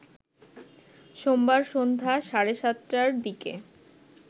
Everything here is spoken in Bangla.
সোমবার সন্ধ্যা সাড়ে ৭টার দিকে